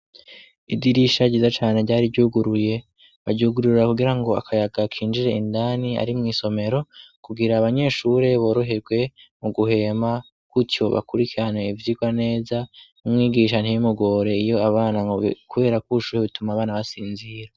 Idirisha riza cane ryari ryuguruye baryugurura kugira ngo akayaga kinjire indani ari mw'isomero kugira abanyeshure boroherwe mu guhema kutiobakurikane ivyirwa neza umwigisha ntibimugore iyo abana, kubera kwushuhe bituma abana basinzira.